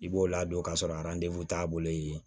I b'o ladon k'a sɔrɔ t'a bolo ye